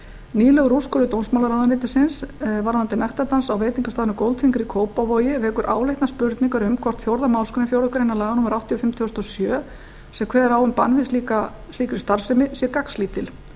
nýlegur úrskurður dómsmálaráðuneytisins varðandi nektardans á veitingastaðnum goldfinger í kópavogi vekur áleitnar spurningar um hvort fjórðu málsgrein fjórðu grein laga númer áttatíu og fimm tvö þúsund og sjö sem kveður á um bann við slíkri starfsemi sé gagnslítil